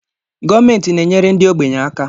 Gọọmentị na-enyere ndị ogbenye aka